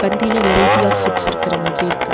பந்தில variety of foods இருக்குற மாதிரி இருக்கு.